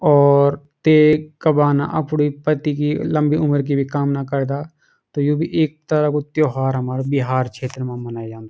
और ते का बाना अपुडी पति की लम्बी उमर की भी कामना करदा त यु भी इक तरह कु त्यौहार हमार बिहार क्षेत्र मा मनायु जांदू।